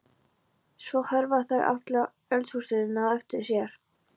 Svo hverfa þær og halla eldhúshurðinni á eftir sér.